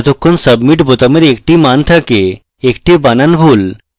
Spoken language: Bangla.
যতক্ষণ submit বোতামের একটি মান থাকে একটি বানান ভুল